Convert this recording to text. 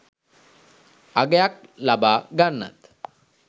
අගයක් ලබා ගන්නත්